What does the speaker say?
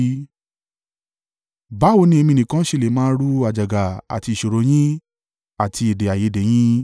Báwo ni èmi nìkan ṣe lè máa ru àjàgà àti ìṣòro yín àti èdè-àìyedè yín?